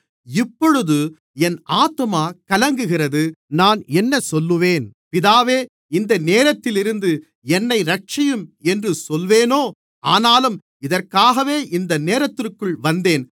இப்பொழுது என் ஆத்துமா கலங்குகிறது நான் என்ன சொல்லுவேன் பிதாவே இந்த நேரத்திலிருந்து என்னை இரட்சியும் என்று சொல்வேனோ ஆனாலும் இதற்காகவே இந்த நேரத்திற்குள் வந்தேன்